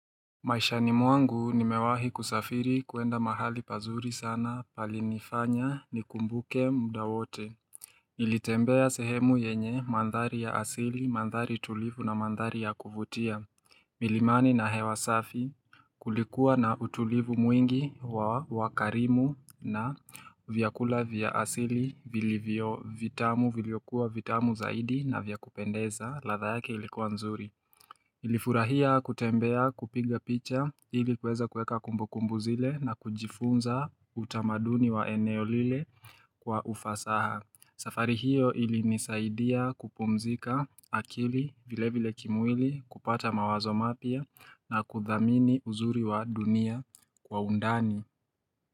Maisha ni mwangu nimewahi kusafiri kuenda mahali pazuri sana pali nifanya ni kumbuke mda wote. Nilitembea sehemu yenye mandhari ya asili, mandhari tulivu na mandhari ya kuvutia. Milimani na hewa safi kulikuwa na utulivu mwingi wa wakarimu na vyakula vya asili vili vio vitamu viliokuwa vitamu zaidi na vyakupendeza latha yake ilikuwa nzuri. Ilifurahia kutembea kupinga picha ilikuweza kueka kumbukumbu zile na kujifunza utamaduni wa eneo lile kwa ufasaha. Safari hiyo ili nisaidia kupumzika akili vile vile kimwili kupata mawazo mapia na kudhamini uzuri wa dunia kwa undani.